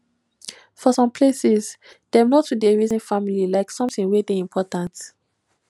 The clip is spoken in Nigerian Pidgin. for some places dem no too dey reason family like something wey dey important